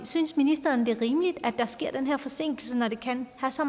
synes ministeren det er rimeligt at der sker den her forsinkelse når det kan have så